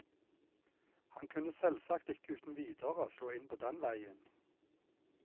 Han kunne selvsagt ikke uten videre slå inn på den veien.